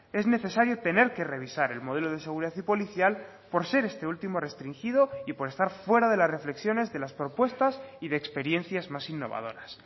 es necesario tener que revisar el modelo de seguridad y policial por ser este último restringido y por estar fuera de las reflexiones de las propuestas y de experiencias más innovadoras